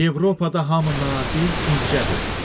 Avropada hamı nazik, incədi.